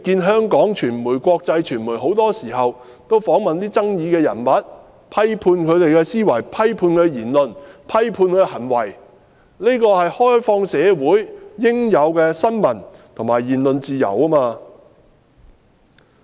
香港傳媒、國際傳媒很多時候也會訪問具爭議性的人物，批判他們的思維、言論、行為，這是開放社會應有的新聞和言論自由。